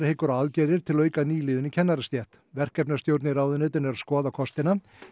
hyggur á aðgerðir til að auka nýliðun í kennarastétt verkefnastjórn í ráðuneytinu er að skoða kostina